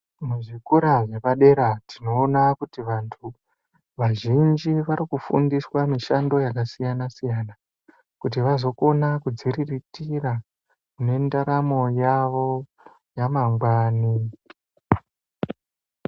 Muzvikora zvepadera tinoona kuti vantu vazhinji varikufundiswa mushando yakasiyana siyana kuti vazokona kudziriritira mundaramo yavo yamangwani.